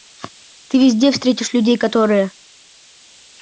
ты везде встретишь людей которые